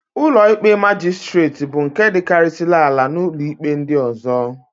Ụlọikpe Majistret bụ nke dịkarịsịrị ala n'ụlọikpe ndị ọ̀zọ́.